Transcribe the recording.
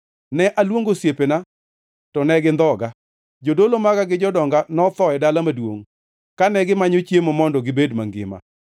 Ne aluongo osiepena, to ne gindhoga. Jodolo maga gi jodonga notho e dala maduongʼ, kane gimanyo chiemo mondo gibed mangima.